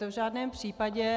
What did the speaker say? To v žádném případě.